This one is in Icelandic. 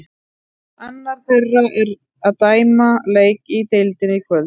Annar þeirra er að dæma leik í deildinni í kvöld.